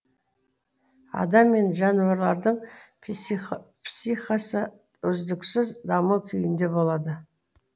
адам мен жануарлардың психикасы үздіксіз даму күйінде болады